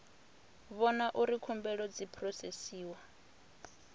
vhona uri khumbelo dzi phurosesiwa